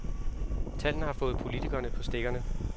Tallene har fået politikerne på stikkerne.